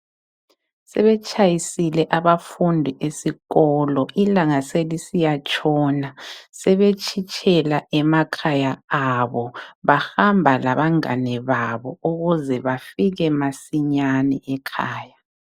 Sebetshayisile abafundi esikolo. Ilanga selisiyatshona. Sebetshitshela emakhaya abo. Bahamba labangane babo, ukuze bafike masinyane ekhaya.